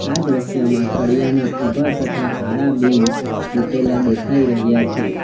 આ દ્રશ્યમાં સળિયાના ઉભા તથા આડા બીમ મુકેલા દેખાઈ રહ્યા છે.